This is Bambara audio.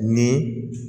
Ni